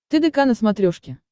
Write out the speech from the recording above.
тдк на смотрешке